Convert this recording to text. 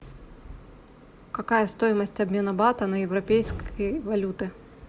какая стоимость обмена бата на европейские валюты